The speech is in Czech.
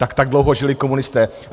Tak tak dlouho žili komunisté.